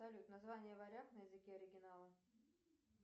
салют название варяг на языке оригинала